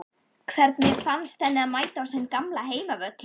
Hvernig fannst henni að mæta á sinn gamla heimavöll?